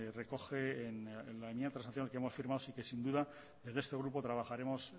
recoge en la enmienda de transacción que hemos firmado y que sin duda desde este grupo trabajaremos